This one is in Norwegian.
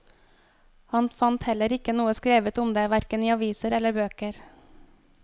Han fant heller ikke noe skrevet om det, hverken i aviser eller bøker.